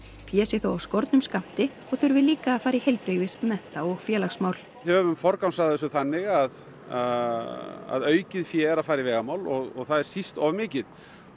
fé sé þó af skornum skammti og þurfi líka að fara í heilbrigðis mennta og félagsmál við höfum forgangsraðað þessu þannig að aukið fé er að fara í vegamál og það er síst of mikið